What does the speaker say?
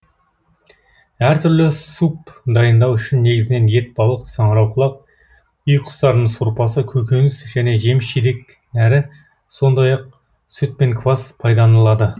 әр түрлі суп дайындау үшін негізінен ет балық саңырауқұлақ үй құстарының сорпасы көкөніс және жеміс жидек нәрі сондай ақ сүт пен квас пайдаланылады